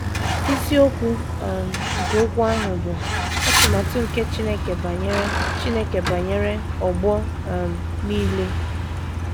Isiokwu um nke okwu ahụ bụ “ Atụmatụ nke Chineke Banyere Chineke Banyere Ọgbọ um Nile. ”